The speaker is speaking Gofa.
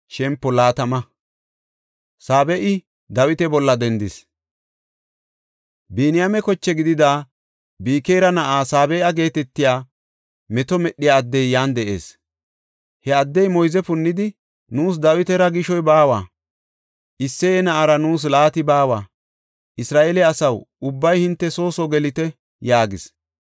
Biniyaame koche gidida Bikira na7ay Saabe7a geetetiya meto medhiya addey yan de7ees. He addey moyze punnidi, “Nuus Dawitara gishoy baawa! Isseye na7aara nuus laati baawa! Isra7eele asaw, ubbay hinte soo soo gelite!” yaagis.